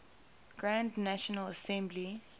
grand national assembly